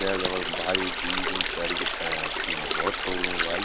भाई जीन्स जूंस पैरीक भैंस की आँख भोत तगडू लगणु भाई।